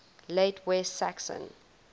late west saxon